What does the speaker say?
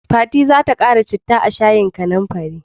Fati za ta ƙara citta a shayin kanumfarin.